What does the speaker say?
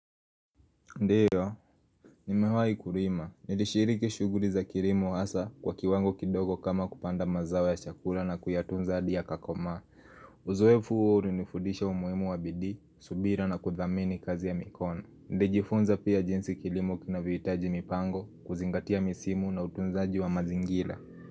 Ndiyo, nimewahi kurima, nilishiriki shuguri za kirimo hasa kwa kiwango kidogo kama kupanda mazawo ya chakura na kuyatunza adi ya kakoma Uzoefu uori nifudisha umuhimu wa bidi, subira na kuthamini kazi ya mikono Ndijifunza pia jinsi kirimu kina vuitaji mipango, kuzingatia misimu na utunzaji wa mazingila.